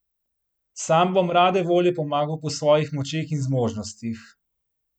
Sam bom rade volje pomagal po svojih močeh in zmožnostih.